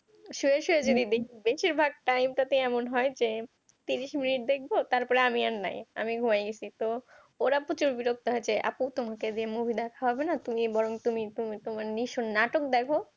শুয়ে শুয়ে যদি দেখি বেশিরভাগ time টা তে আমি এমন হয় যে তিরিশ মিনিট দেখব তারপর আমি আর নাই আমি ঘুমাই গেছি তো ওরা প্রচুর বিরক্ত হয় যে আপু তোমাকে দিয়ে movie দেখা হবেনা তুমি বরং তুমি তুমি তোমার নাটক দেখো